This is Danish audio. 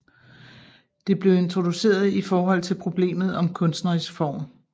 Det blev introduceret i forhold til problemet om kunstnerisk form